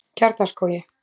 Kjarnaskógi